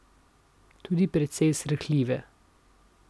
Tudi precej srhljive.